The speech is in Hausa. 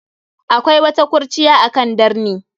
Akwai wata kurciya akan darni.